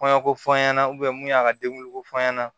Kɔɲɔko fɔ an ɲɛna mun y'a ka denguliko fɔ ɲɛna